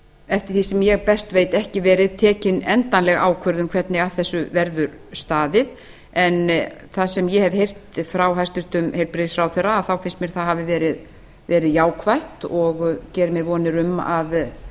eftir því sem ég best veit ekki tekin endanleg ákvörðun um hvernig að þessu verður staðið en það sem ég hef heyrt frá hæstvirtum heilbrigðisráðherra þá finnst mér það hafa verið jákvætt og geri mér vonir um